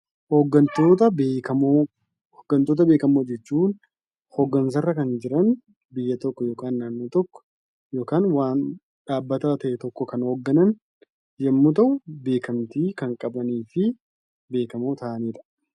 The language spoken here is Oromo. Hoggantoota beekamoo: hoggantoota beekamoo jechuun hooggansarra kan jiran biyya tokko yookaan naannoo tokko yookaan waan dhaabbataa ta'e tokko kan hogganana yemmuu ta'u beekamtii kan qabaniifi beekamoo kan ta'anidha.